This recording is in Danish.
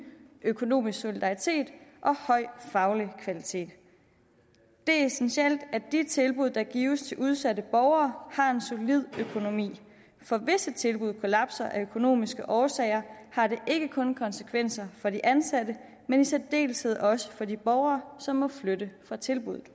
økonomisk solidaritet og høj faglig kvalitet det er essentielt at de tilbud der gives til udsatte borgere har en solid økonomi for hvis et tilbud kollapser af økonomiske årsager har det ikke kun konsekvenser for de ansatte men i særdeleshed også for de borgere som må flytte fra tilbuddet